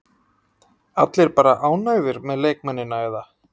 Allir bara ánægðir með leikmennina eða?